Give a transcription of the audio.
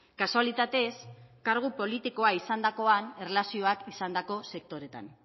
kasualitatez kargu politikoa izandakoan erlazioak izandako sektoretan